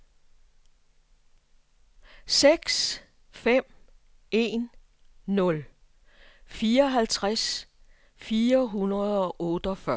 seks fem en nul fireoghalvtreds fire hundrede og otteogfyrre